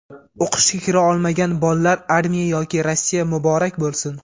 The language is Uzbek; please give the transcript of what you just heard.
O‘qishga kira olmagan bollar armiya yoki Rossiya muborak bo‘lsin.